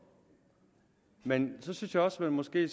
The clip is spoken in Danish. men så synes jeg også man måske